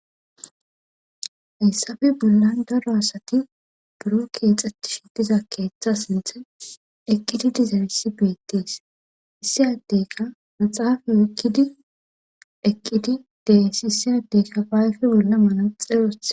ayssafe bollan daro asati buroo keexettishe diza keetha sinthan eqqidi dizayssi beettees issi addeyka maxaafe oyqqidi eqqidi de7ees issi addeyka ba ayfe bolla manaxxire wothi.